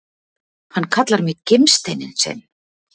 Hann kallar mig gimsteininn sinn!